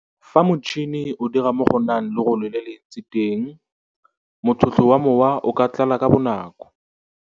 Fa motšhene o dira mo go nang lorole le lentsi teng motlhotlho wa mowa o ka tlala ka bonako.